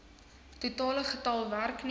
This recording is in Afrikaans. totale getal werkgewers